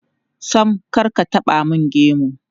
Sam, kar ka taɓa mun gemu.